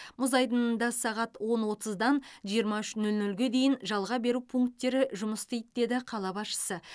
мұз айдынында сағат он отыздан жиырма үш нөл нөлге дейін жалға беру пункттері жұмыс істейді деді қала басшысы